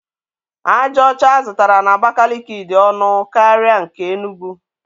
Aja ọcha a zụtara n’Abakiliki dị ọnụ ala karịa nke Enugwu.